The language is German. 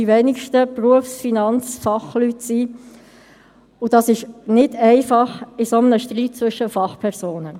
Die beiden Werte sind logischerweise nicht gleich hoch, und damit kann die Vermögenssituation unterschiedlich abgebildet werden.